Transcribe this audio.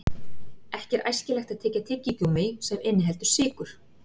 Ekki er æskilegt að tyggja tyggigúmmí sem inniheldur sykur.